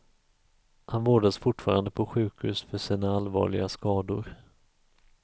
Han vårdas fortfarande på sjukhus för sina allvarliga skador.